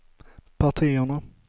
partierna